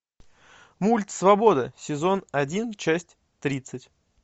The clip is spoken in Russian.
мульт свобода сезон один часть тридцать